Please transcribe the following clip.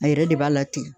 A yɛrɛ de b'a latigɛ